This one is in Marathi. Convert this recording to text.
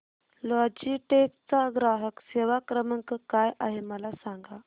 लॉजीटेक चा ग्राहक सेवा क्रमांक काय आहे मला सांगा